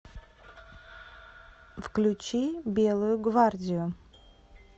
включи белую гвардию